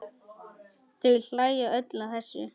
Þau hlæja öll að þessu.